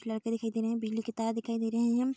लड़के दिखाई दे रहे हैं बिजली के तार दिखाई दे रहे हैं।